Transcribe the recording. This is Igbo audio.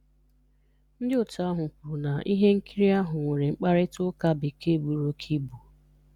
Ndị otu ahụ kwuru na ihe nkiri ahụ nwere 'mkparịta ụka Bekee buru óké ibu'.